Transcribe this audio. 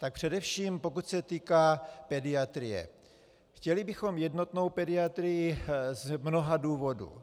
Tak především pokud se týká pediatrie, chtěli bychom jednotnou pediatrii z mnoha důvodů.